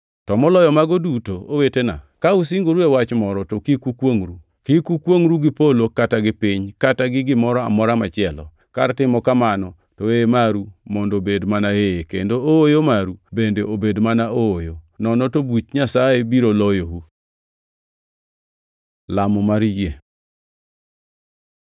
To moloyo mago duto, owetena, ka usingoru e wach moro to kik ukwongʼru. Kik ukwongʼru gi polo kata gi piny kata gi gimoro amora machielo. Kar timo kamano to “Ee” maru mondo obed mana ee, kendo “Ooyo” maru bende obed mana ooyo, nono to buch Nyasaye biro loyou. Lamo mar yie